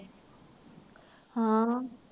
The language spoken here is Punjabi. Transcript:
ਹਾਂ